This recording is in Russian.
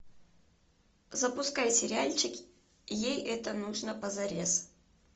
запускай сериальчик ей это нужно позарез